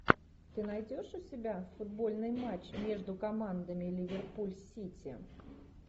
ты найдешь у себя футбольный матч между командами ливерпуль сити